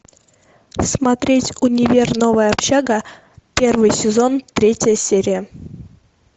смотреть универ новая общага первый сезон третья серия